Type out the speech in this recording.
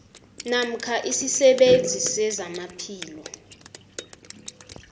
namkha isisebenzi sezamaphilo